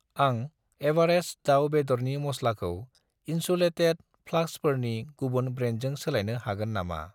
आं एवारेस्ट दाउ बेदरनि मस्लाखौ इन्सुलेटेद फ्लास्कफोरनि गुबुन ब्रेन्डजों सोलायनो हागोन नामा?